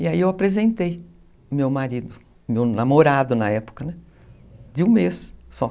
E aí eu apresentei meu marido, meu namorado na época, de um mês só.